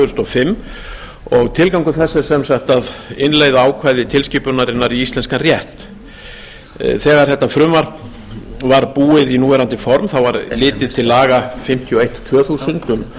þúsund og fimm og tilgangur þess er sem sagt að innleiða ákvæði tilskipunarinnar í íslenskan rétt þegar frumvarpið var búið í núverandi formaður var litið til laga númer fimmtíu og eitt tvö þúsund um